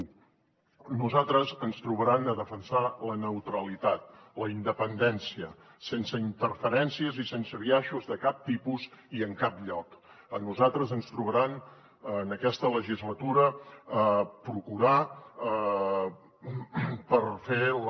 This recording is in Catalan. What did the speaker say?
a nosaltres ens trobaran a defensar la neutralitat la independència sense interferències i sense biaixos de cap tipus i en cap lloc a nosaltres ens trobaran en aquesta legislatura a procurar per fer la